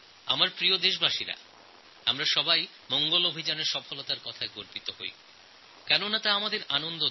আমার প্রিয় দেশবাসী মার্স মিশনএর সফলতায় আমরা আনন্দিত